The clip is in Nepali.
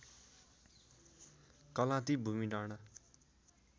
कलाँती भूमिडाँडा